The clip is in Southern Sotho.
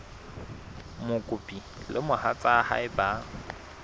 mokopi le mohatsa hae ba